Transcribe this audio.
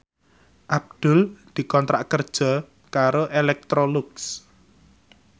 Abdul dikontrak kerja karo Electrolux